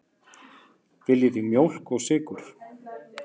Viljið þið mjólk og sykur?